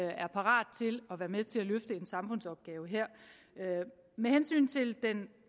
parate til at være med til at løfte en samfundsopgave her med hensyn til den